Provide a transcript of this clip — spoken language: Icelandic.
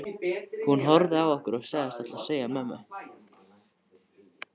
Hún horfði á okkur og sagðist ætla að segja mömmu.